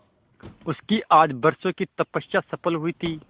उसकी आज बरसों की तपस्या सफल हुई थी